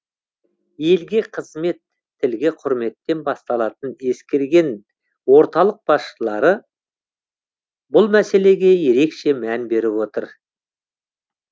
елге қызмет тілге құрметтен басталатынын ескерген орталық басшылары бұл мәселеге ерекше мән беріп отыр